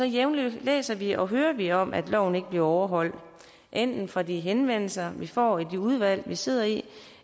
jævnligt læser vi og hører vi om at loven ikke bliver overholdt enten fra de henvendelser vi får i de udvalg vi sidder i